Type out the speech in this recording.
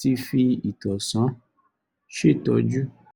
ti fi ìtànṣán ṣètọ́jú